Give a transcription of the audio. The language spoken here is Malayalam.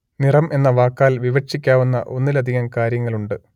നിറം എന്ന വാക്കാൽ വിവക്ഷിക്കാവുന്ന ഒന്നിലധികം കാര്യങ്ങളുണ്ട്